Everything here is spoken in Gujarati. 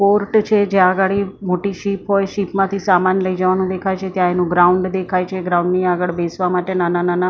પોર્ટ છે જ્યાં અગાડી મોટી શિપ હોય. શીપ માંથી સામાન લઈ જવાનું દેખાય છે ત્યાં એનું ગ્રાઉન્ડ દેખાય છે ગ્રાઉન્ડ ની આગળ બેસવા માટે નાના નાના--